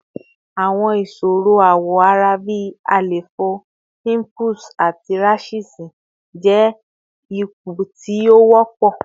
Awọn iṣoro awọ ara bi àléfọ, pimples, ati rashes jẹ awọn ipo ti o wọpọ